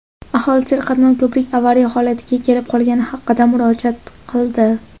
Aholi serqatnov ko‘prik avariya holatiga kelib qolgani haqida murojaat qildi.